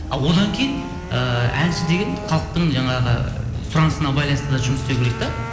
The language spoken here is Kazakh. а одан кейін ііі әнші деген халықтың жаңағы сұранысына байланысты да жұмыс істеу керек те